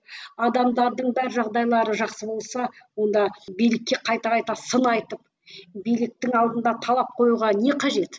адамдардың да бар жағдайлары жақсы болса онда билікке қайта қайта сын айтып биліктің алдында талап қоюға не қажет